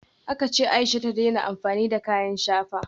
Aka ce Aisha ta daina amfani da kayan shafa